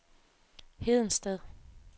Hedensted